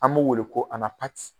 An b'o wele ko